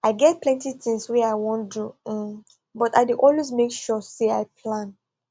i get plenty things wey i wan do hmmm but i dey always make sure say i plan